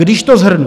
Když to shrnu.